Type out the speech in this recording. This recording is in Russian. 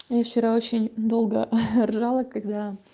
я вчера очень долго ржала когда